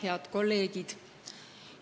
Head kolleegid!